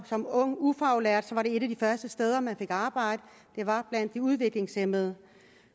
som ung ufaglært var et af de første steder man fik arbejde blandt de udviklingshæmmede